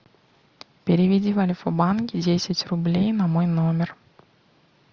переведи в альфа банк десять рублей на мой номер